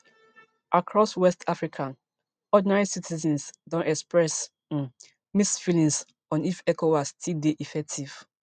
across west africa ordinary citizens don express um mixed feelings on if ecowas still dey effective